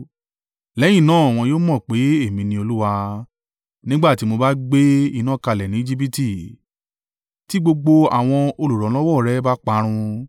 Lẹ́yìn náà wọn yóò mọ̀ pé èmi ní Olúwa, nígbà tí mo bá gbé iná kalẹ̀ ní Ejibiti tí gbogbo àwọn olùrànlọ́wọ́ rẹ̀ bá parun.